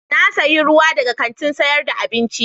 Na sayi ruwa daga kantin sayar da abinci.